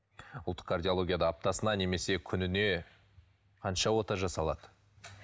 ұлттық кардиологияда аптасына немесе күніне қанша ота жасалады